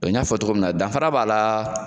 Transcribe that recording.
n y'a fɔ cogo min na danfara b'a la.